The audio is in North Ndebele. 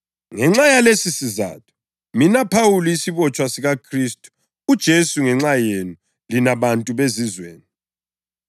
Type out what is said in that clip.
Ngenxa yalesisizatho, mina Phawuli, isibotshwa sikaKhristu uJesu ngenxa yenu lina bantu beZizweni.